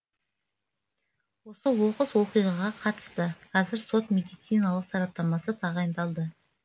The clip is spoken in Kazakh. осы оқыс оқиғаға қатысты қазір сот медициналық сараптамасы тағайындалды